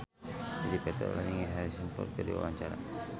Dedi Petet olohok ningali Harrison Ford keur diwawancara